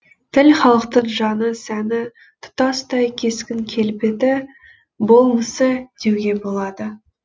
тіл халықтың жаны сәні тұтастай кескін келбеті болмысы деуге болады